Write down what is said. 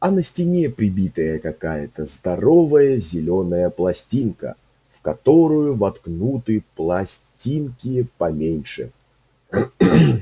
а на стене прибитая какая-то здоровая зелёная пластинка в которую воткнуты пластинки поменьше